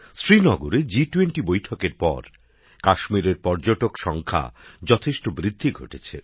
শ্রীনগরে জি20 বৈঠকের পর কাশ্মীরের পর্যটক সংখ্যায় যথেষ্ট বৃদ্ধি ঘটেছে